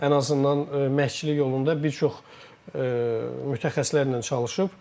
Ən azından məşqçilik yolunda bir çox mütəxəssislərlə çalışıb.